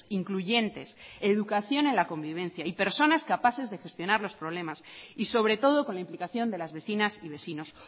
incluyentes educación en la convivencia y personas capaces de gestionar los problemas y sobre todo con la implicación de las vecinas y vecinos